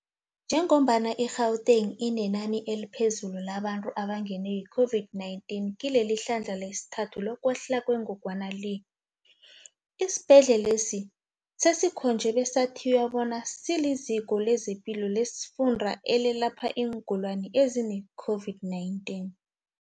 Njengombana i-Gauteng inenani eliphezulu labantu abangenwe yi-COVID-19 kile lihlandla lesithathu lokwehla kwengogwana le, isibhedlelesi sesikhonjwe besathiywa bona siliziko lezepilo lesifunda elelapha iingulani ezine-COVID-19.